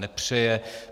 Nepřeje.